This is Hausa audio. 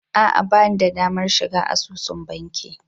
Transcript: A'a ba ni da damar shiga asusun banki